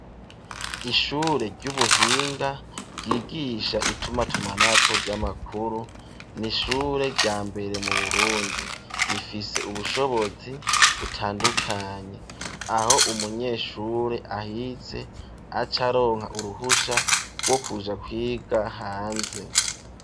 Ishure ry'ubuhinga ryigisha itumatumanako ry'amakuru, n'ishure rya mbere mu Burundi, rifise ubushobozi butandukanye, aho umunyeshure ahize acaronka uruhusha rwo kuja kwiga hanze.